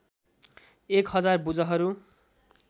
एक हजार भुजाहरू